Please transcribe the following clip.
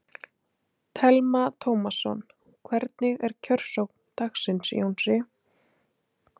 Telma Tómasson: Hvernig er kjörsókn dagsins, Jónas?